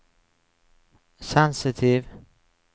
sensitiv